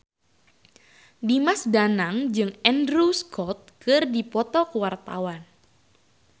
Dimas Danang jeung Andrew Scott keur dipoto ku wartawan